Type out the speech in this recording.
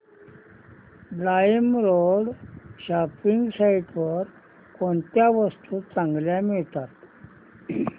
LimeRoad shopping site वर कोणत्या वस्तू चांगल्या मिळतात